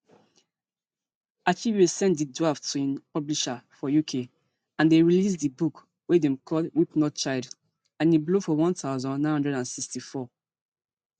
achebe send di draft to im publisher for uk and dem release di book wey dem call weep not child and e blow for one thousand, nine hundred and sixty-four